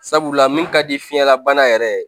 Sabula min ka di fiɲɛlabana yɛrɛ ye